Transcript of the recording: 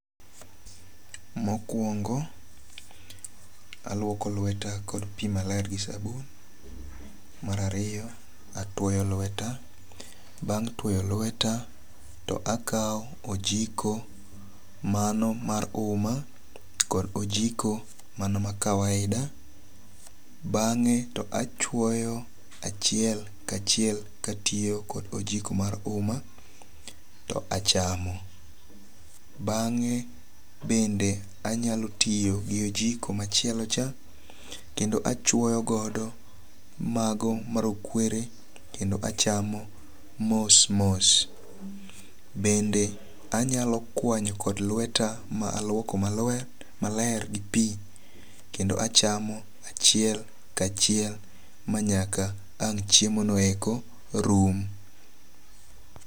Mokwongo, aluoko lweta kod pi maler gi sabun. Mar ariyo, atwoyo lweta. Bang' twoyo lweta to akaw ojiko mano mar uma kod ojiko mana ma kawaida. Bang'e to achwoyo achiel ka achiel ka atiyo kod ojiko mar uma to achamo. Bang' bende anyalo tiyo gi ojiko machielo cha kendo achwoyogodo mago marokwere kendo achamo mos mos. Bende anyalo kwanyo kod lweta ma aluoko maler gi pi kendo achamo achiel kachiel manyaka ang' chiemo no eko rum.